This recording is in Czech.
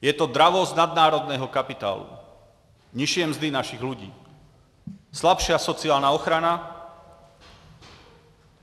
Je to dravost nadnárodního kapitálu, nižší mzdy našich lidí, slabší sociální ochrana.